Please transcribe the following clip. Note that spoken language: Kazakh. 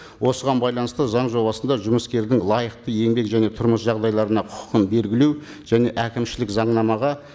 осыған байланысты заң жобасында жұмыскердің лайықты еңбек және тұрмыс жағдайларына құқын белгілеу және әкімшілік заңнамаға